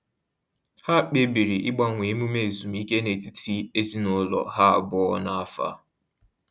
Ha kpebiri ịgbanwe emume ezumike n’etiti ezinụlọ ha abụọ n’afọ a.